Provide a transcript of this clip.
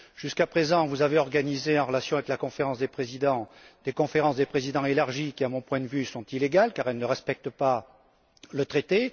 Jusqu'à présent, vous avez organisé, en relation avec la Conférence des présidents, des conférences des présidents élargies qui, à mon point de vue, sont illégales car elles ne respectent pas le traité.